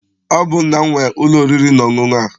Ọ bụ nna m nwe ụlọ oriri na ọṅụṅụ a.